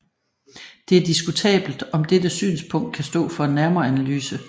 Det er diskutabelt om dette synspunkt kan stå for en nærmere analyse